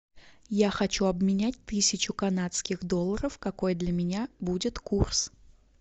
я хочу обменять тысячу канадских долларов какой для меня будет курс